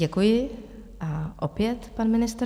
Děkuji a opět pan ministr.